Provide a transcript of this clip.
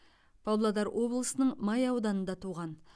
павлодар облысының май ауданында туған